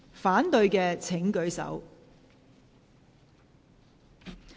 反對的請舉手。